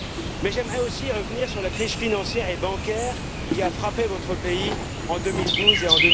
Mais j'aimerais aussi revenir sur la crise financière et bancaire qui a frappé votre pays en 2012 et